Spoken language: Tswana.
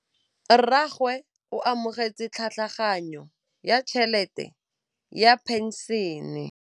Rragwe o amogetse tlhatlhaganyô ya tšhelête ya phenšene.